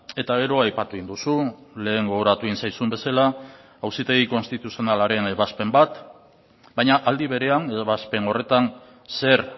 eta gero aipatu egin duzu lehen gogoratu egin zaizun bezala auzitegi konstituzionalaren ebazpen bat baina aldi berean edo ebazpen horretan zer